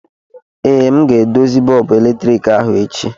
ee, m ga-edozi bọọbụ eletriki ahụ echi